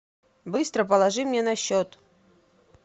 быстро положи мне на счет